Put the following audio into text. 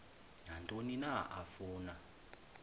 nantoni na afuna